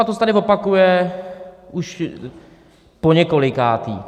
A to se tady opakuje už poněkolikáté.